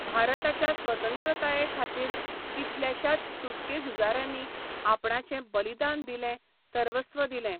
भारताच्या स्वतंत्रताये खातीर कितल्याश्याच सुटके झुजाऱ्यांनी आपणाचें बलिदान दिलें, सर्वस्व दिलें